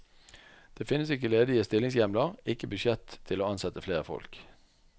Det finnes ikke ledige stillingshjemler, ikke budsjett til å ansette flere folk.